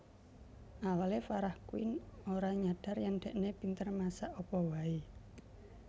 Awale Farah Quinn ora nyadar yen dhekne pinter masak apa wae